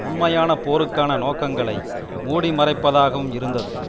உண்மையான போருக்கான நோக்கங்களை மூடி மறைப்பதற்காகவும் இருந்தது